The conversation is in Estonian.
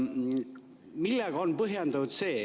Millega see on põhjendatud?